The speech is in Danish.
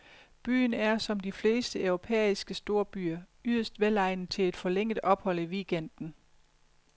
Byen er som de fleste europæiske storbyer yderst velegnet til et forlænget ophold i weekenden.